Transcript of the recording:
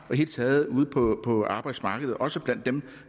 det hele taget ude på arbejdsmarkedet også blandt dem